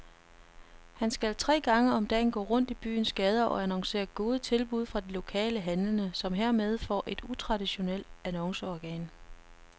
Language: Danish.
Han skal tre gange om dagen gå rundt i byens gader og annoncere gode tilbud fra de lokale handlende, som hermed får et utraditionelt annonceorgan.